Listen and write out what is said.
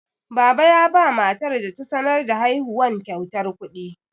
Baba yaba matar da ta sanar da haihuwan kyautar kuɗi.